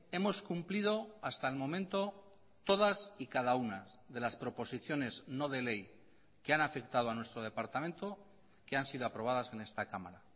hemos cumplido hasta el momento todas y cada una de las proposiciones no de ley que han afectado a nuestro departamento que han sido aprobadas en esta cámara